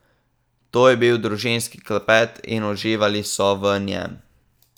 To je bil družinski klepet, in uživali so v njem.